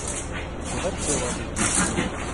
куда тебе ложить на счет